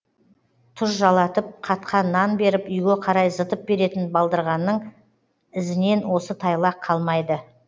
тұз жалатып қатқан нан беріп үйге қарай зытып беретін балдырғанның ізінен осы тайлақ қалмайды